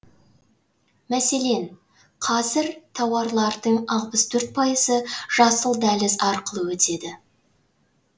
мәселен қазір тауарлардың алпыс төрт пайызы жасыл дәліз арқылы өтеді